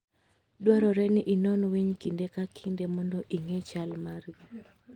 Dwarore ni inon winy kinde ka kinde mondo ing'e chal margi.